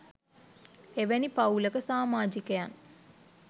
එවැනි පවූලක සමාජිකයන්